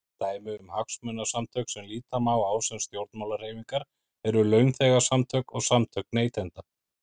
Dæmi um hagsmunasamtök sem líta má á sem stjórnmálahreyfingar eru launþegasamtök og samtök neytenda.